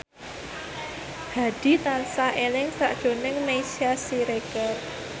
Hadi tansah eling sakjroning Meisya Siregar